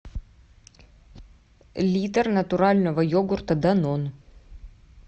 литр натурального йогурта данон